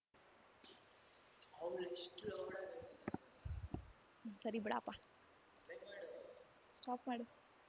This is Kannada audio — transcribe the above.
ಸರಿ ಬಿಡಪ್ಪ ಸ್ಟಾಪ್ ಮಾಡು